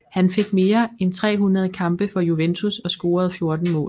Han fik mere end 300 kampe for Juventus og scorede 14 mål